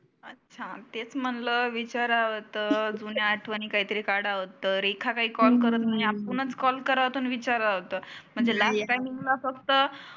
अच्छा तेच म्हटलं विचारावा तर. जुन्या आठवनी काढावा तर. रेखा काही कॉल करत नाही आपुनच कॉल करावात आणि विचारावात. म्हणजे लास्ट टाइम ला फक्त